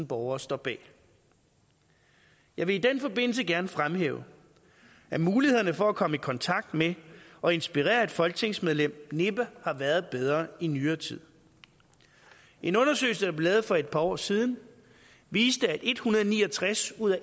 borgere står bag jeg vil i den forbindelse gerne fremhæve at mulighederne for at komme i kontakt med og inspirere et folketingsmedlem næppe har været bedre i nyere tid en undersøgelse der blev lavet for et par år siden viste at en hundrede og ni og tres ud af